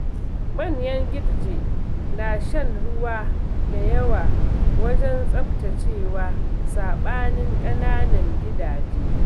Manyan gidje na shan ruwa da yawa wajen tsaftacewa, saɓanin ƙanaun gidaje.